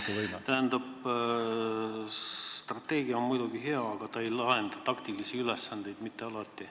Tähendab, strateegia on muidugi hea, aga ta ei lahenda mitte alati taktikalisi ülesandeid.